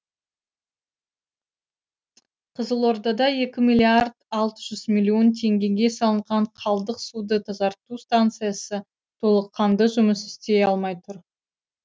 қызылордада екі миллиард алты миллион теңгеге салынған қалдық суды тазарту станциясы толыққанды жұмыс істей алмай тұр